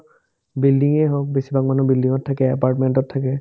building য়ে হওক বেছিভাগ মানুহ building ত থাকে apartment তত থাকে